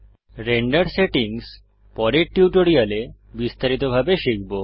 render settings পরের টিউটোরিয়ালে বিস্তারিতভাবে শিখব